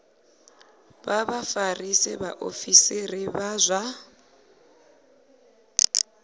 vha vhafarisa vhaofisiri vha zwa